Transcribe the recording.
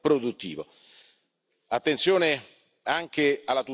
Attenzione anche alla tutela dell'agricoltura, dicevo.